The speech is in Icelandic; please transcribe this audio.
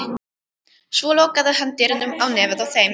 Svo lokaði hann dyrunum á nefið á þeim.